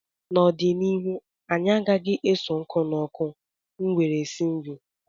N'ọdịnihu anyị agaghị na-eso nkụ n'ọkụ nwere esi nri